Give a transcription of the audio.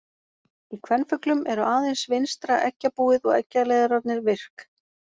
Í kvenfuglum eru aðeins vinstra eggjabúið og eggjaleiðararnir virk.